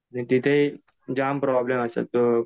आणि तिथे jam problem असतात.